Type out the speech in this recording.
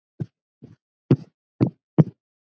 Af öllum löndum.